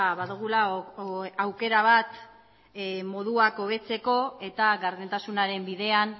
badugula aukera bat moduak hobetzeko eta gardentasunaren bidean